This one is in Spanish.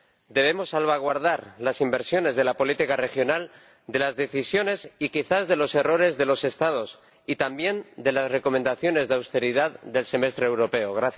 Debemos salvaguardar las inversiones de la política regional de las decisiones y, quizás, de los errores de los Estados, y también de las recomendaciones de austeridad del Semestre Europeo.